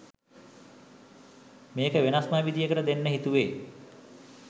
මේක වෙනස්ම විදියකට දෙන්න හිතුවේ.